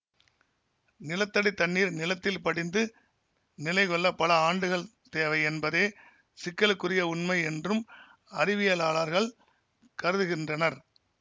நிலத்தடி தண்ணீர் நிலத்தில் படிந்து நிலைகொள்ள பல ஆண்டுகள் தேவை என்பதே சிக்கலுக்குரிய உண்மை என்றும் அறிவியலாளர்கள் கருதுகின்றனர்